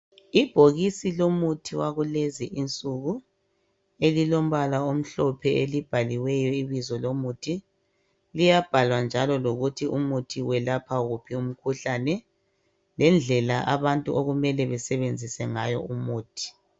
Ibhokisi lomuthi wakulezi insuku elilombala omhlophe elibhaliweyo ibizo lomuthi liyabhalwa njalo lokuthi umuthi welapha wuphi umkhuhlane lendlela abantu okumele basebenzise ngayo umuthi.